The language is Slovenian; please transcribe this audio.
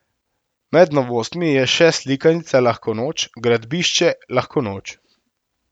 Med novostmi je še slikanica Lahko noč, gradbišče, lahko noč.